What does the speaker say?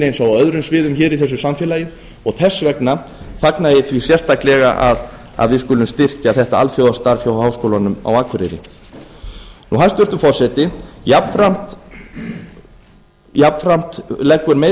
eins og á öðrum sviðum hér í þessu samfélagi og þess vegna fagna ég því sérstaklega að við skulum styrkja þetta alþjóðastarf hjá háskólanum á akureyri hæstvirtur forseti jafnframt leggur meiri